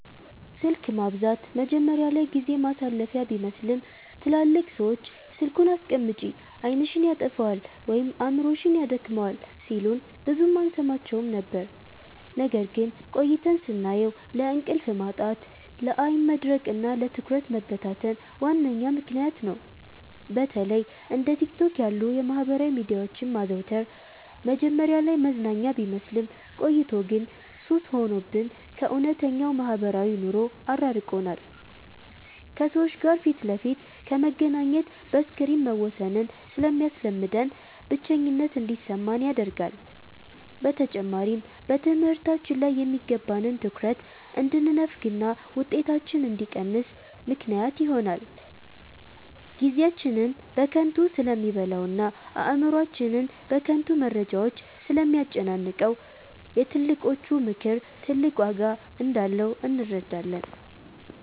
ስልክ ማብዛት መጀመሪያ ላይ ጊዜ ማሳለፊያ ቢመስልም፣ ትላልቅ ሰዎች "ስልኩን አስቀምጪ፣ ዓይንሽን ያጠፋዋል ወይም አእምሮሽን ያደክመዋል" ሲሉን ብዙም አንሰማቸውም ነበር። ነገር ግን ቆይተን ስናየው ለእንቅልፍ ማጣት፣ ለዓይን መድረቅና ለትኩረት መበታተን ዋነኛ ምክንያት ነው። በተለይ እንደ ቲክቶክ ያሉ የማህበራዊ ሚዲያዎችን ማዘውተር መጀመሪያ ላይ መዝናኛ ቢመስልም፣ ቆይቶ ግን ሱስ ሆኖብን ከእውነተኛው ማህበራዊ ኑሮ አራርቆናል። ከሰዎች ጋር ፊት ለፊት ከመገናኘት በስክሪን መወሰንን ስለሚያስለምደን፣ ብቸኝነት እንዲሰማን ያደርጋል። በተጨማሪም በትምህርታችን ላይ የሚገባንን ትኩረት እንድንነፈግና ውጤታችን እንዲቀንስ ምክንያት ይሆናል። ጊዜያችንን በከንቱ ስለሚበላውና አእምሮአችንን በከንቱ መረጃዎች ስለሚያጨናንቀው፣ የትልቆቹ ምክር ትልቅ ዋጋ እንዳለው እንረዳለን።